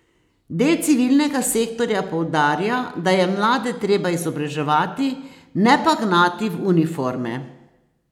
Del civilnega sektorja poudarja, da je mlade treba izobraževati, ne pa gnati v uniforme.